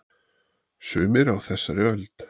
Sumir á þessari öld.